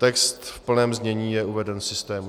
Text v plném znění je uveden v systému.